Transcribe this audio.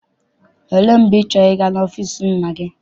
Olee mgbe ị chọrọ ịga n'ọfịịsi nna gị?